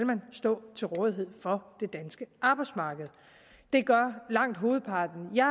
stå til rådighed for det danske arbejdsmarked det gør langt hovedparten jeg